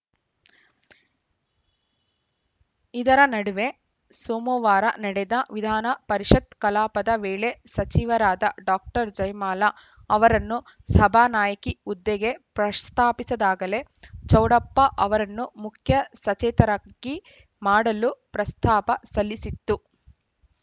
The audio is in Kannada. ಇದರ ನಡುವೆ ಸೋಮವಾರ ನಡೆದ ವಿಧಾನ ಪರಿಷತ್‌ ಕಲಾಪದ ವೇಳೆ ಸಚಿವರಾದ ಡಾಕ್ಟರ್ ಜಯಮಾಲಾ ಅವರನ್ನು ಸಭಾನಾಯಕಿ ಹುದ್ದೆಗೆ ಪ್ರಶತಾಪಿಸಿದಾಗಲೇ ಚೌಡಪ್ಪ ಅವರನ್ನು ಮುಖ್ಯ ಸಚೇತಕರಾಗಿ ಮಾಡಲು ಪ್ರಸ್ತಾಪ ಸಲ್ಲಿಸಿತ್ತು